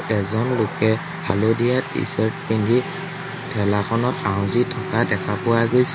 এজন লোকে হালধীয়া টি-চাৰ্ট পিন্ধি ঠেলাখনত আউজি থকা দেখা পোৱা গৈছে।